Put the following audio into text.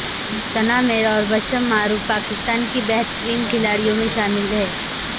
ثنا میر اور بسمہ معروف پاکستان کی بہترین کھلاڑیوں میں شامل ہیں